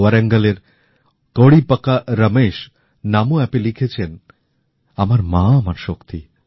ওয়ারেংলের কোড়িপাকা রমেশ নমো অ্যাপে লিখেছেন আমার মা আমার শক্তি